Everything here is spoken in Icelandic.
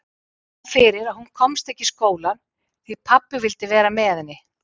Það kom fyrir að hún komst ekki í skólann því pabbi vildi vera með henni.